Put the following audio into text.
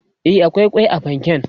e akwai kwai a fanken